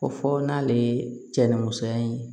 Ko fɔ n'ale ye cɛ ni musoya ye